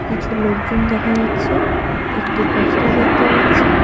কিছু লোকজন দেখা যাচ্ছে একটি বস্তা দেখতে পাচ্ছি।